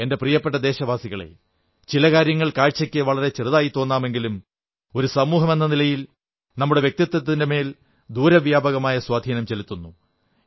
എന്റെ പ്രിയപ്പെട്ട ദേശവാസികളേ ചില കാര്യങ്ങൾ കാഴ്ചയ്ക്ക് വളരെ ചെറുതായി തോന്നാമെങ്കിലും ഒരു സമൂഹമെന്ന നിലയിൽ നമ്മുടെ വ്യക്തിത്വത്തിന്റെ മേൽ ദൂരവ്യാപകമായ സ്വാധീനം ചെലുത്തുന്നു